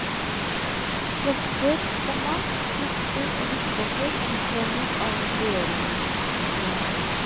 Prester, komma proster og biskoper utnevnes av regjeringen. punktum